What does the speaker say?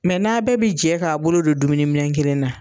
Mɛ n'a bɛɛ bi jɛ k'a bolo don dumuniminɛ kelen na